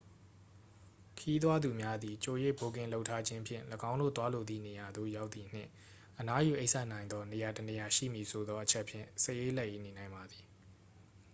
ခရီးသွားသူများသည် ကြို၍ဘွတ်ကင်လုပ်ထားခြင်းဖြင့် ၎င်းတို့သွားလိုသည့်နေရာသို့ရောက်သည်နှင့် အနားယူအိပ်စက်နိုင်သောနေရာတစ်နေရာရှိမည်ဆိုသော အချက်ဖြင့် စိတ်အေးလက်အေးနေနိုင်ပါသည်